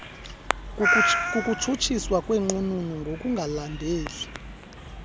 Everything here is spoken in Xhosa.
kukutshutshiswa kwenqununu ngokungalandeli